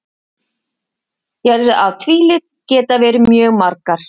Gerðir af tvílit geta verið mjög margar.